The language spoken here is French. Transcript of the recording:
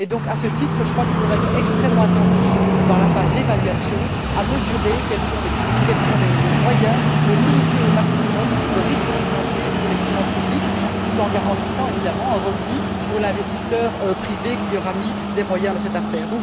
À ce titre, je crois qu'il faudra être extrêmement attentif, dans la phase d'évaluation, à mesurer quels sont les moyens de limiter au maximum le risque financier pour les finances publiques, tout en garantissant un revenu pour l'investisseur privé qui aura mis des moyens dans cette affaire.